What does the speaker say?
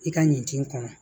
I ka ɲin kɔnɔ